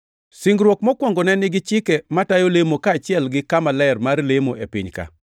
Singruok mokwongo ne nigi chike matayo lemo kaachiel gi kama ler mar lemo e piny-ka.